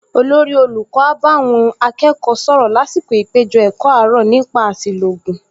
Olórí olùkọ́ á bá àwọn akẹ́kọ̀ọ sọ̀rọ̀ lásìkò ìpèjọ-ẹ̀kọ́ àárọ̀ nípa àṣìlò ògùn